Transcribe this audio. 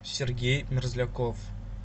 сергей мерзляков